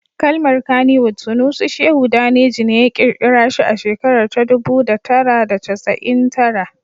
Kalmar Kannywood Sunusi Shehu Daneji ne ya kirkira shi a shekarar ta dubu da tara da casa'in tara